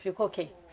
Ficou quem?